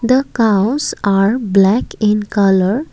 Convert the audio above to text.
the cows are black in colour.